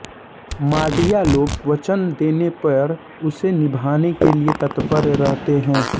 माड़िया लोग वचन देने पर उसे निभाने के लिये तत्पर रहते हैं